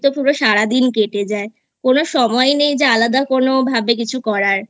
তো পুরো সারাদিন কেটে যায় কোন সময় নেই যে আলাদা কোন ভাবে কিছু করার